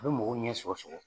A bɛ mɔgɔɔ ɲɛ sɔgɔ sɔgɔ